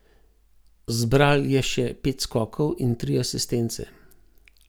Zbral je še pet skokov in tri asistence.